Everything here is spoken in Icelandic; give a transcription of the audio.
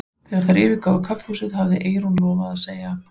Þegar þær yfirgáfu kaffihúsið hafði Eyrún lofað að segja